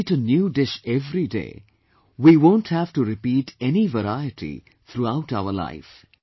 If we eat a new dish every day, we won't have to repeat any variety throughout our life